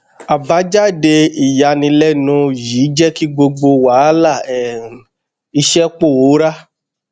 àbájáde ìyànilẹnu yìí jẹ kí gbogbo wàhálà um iṣẹ pòórá